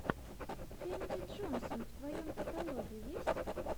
кэнди джонсон в твоем каталоге есть